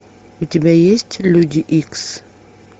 у тебя есть люди икс